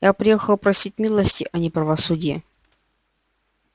я приехала просить милости а не правосудия